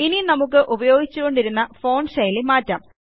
ഇനി നമുക്ക് ഉപയോഗിച്ചുകൊണ്ടിരുന്ന ഫോണ്ട് ശൈലി മാറ്റാം